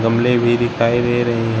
फूलें भी दिखाई दे रही हैं।